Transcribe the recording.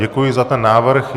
Děkuji za ten návrh.